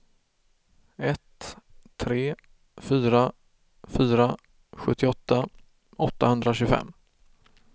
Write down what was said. ett tre fyra fyra sjuttioåtta åttahundratjugofem